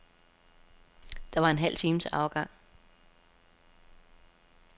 Der var en halv time til afgang.